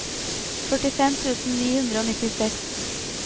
førtifem tusen ni hundre og nittiseks